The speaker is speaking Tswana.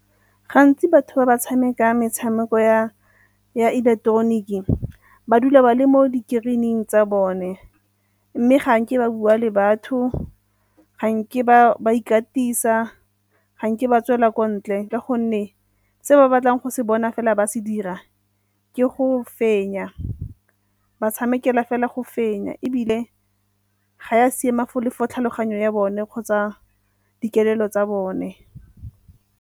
Gantsi batho ba ba tshameka metshameko ya ileketeroniki ba dula ba le mo di-screen-ing tsa bone. Mme ga nke ba bua le batho, ga nke ba ikatisa, ga nke ba tswela kwa ntle ka gonne se ba batlang go se bona fela ba se dira ke go fenya, ba tshamekela fela go fenya ebile ga e a siama le for tlhaloganyo ya bone kgotsa dikelello tsa bone.